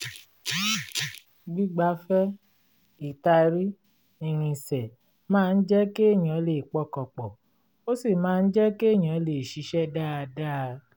gbígbafẹ́ ĺtàrí ìrìnsẹ̀ máa ń jẹ́ kéèyàn lè pọkàn pọ̀ ó sì máa ń jẹ́ kéèyàn lè ṣiṣẹ́ dáadáa